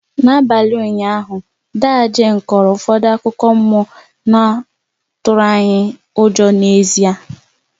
N'abalị ụnyaahụ, ndaa Jane kọrọ ụfọdụ akụkọ mmụọ na ọ tụrụ anyị ụjọ n'ezie